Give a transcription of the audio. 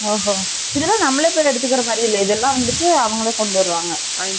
ஒ ஓ இதுலாம் நம்மலே போய் எடுக்குற மாதிரி இல்லையே இதுலாம் வந்துட்டு அவங்களே கொண்டு வருவாங்க